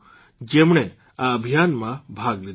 જેમણે આ અભિયાનમાં ભાગ લીધો હતો